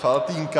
Faltýnka .